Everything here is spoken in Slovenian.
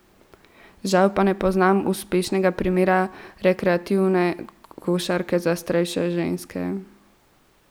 Žal pa ne poznam uspešnega primera rekreativne košarke za starejše ženske.